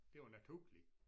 Det jo naturligt